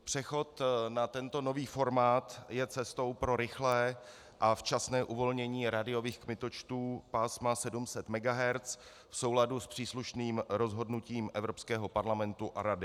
Přechod na tento nový formát je cestou pro rychlé a včasné uvolnění rádiových kmitočtů pásma 700 MHz v souladu s příslušným rozhodnutím Evropského parlamentu a Rady.